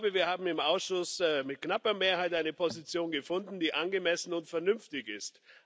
Wir haben im Ausschuss mit knapper Mehrheit eine Position gefunden, die angemessen und vernünftig ist.